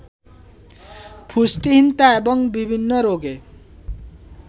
পুষ্টিহীনতা এবং বিভিন্ন রোগে